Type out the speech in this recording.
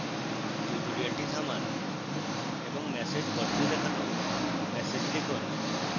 tutorial থামান এবং message body তে দেখানো ম্যাসেজ লিখুন